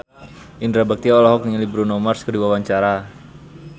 Indra Bekti olohok ningali Bruno Mars keur diwawancara